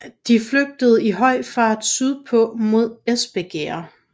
De flygtede i høj fart sydpå mod Espergærde